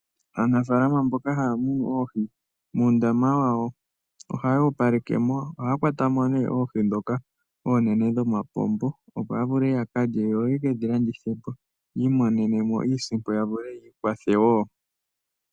Aanafalama mboka haya munu oohi, muundama wawo ohaya opaleke mo. Ohaya kwata mo nee oohi ndhoka oonene dhomapombo, opo ya vule ya ka lye, yo ye kedhi landithe po, yi imonenemo iisimpo, ya vule yiikwathe wo.